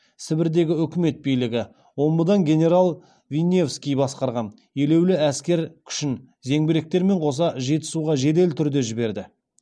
сібірдегі өкімет билігі омбыдан генерал винневский басқарған елеулі әскер күшін зеңбіректерімен қоса жетісуға жедел түрде жіберді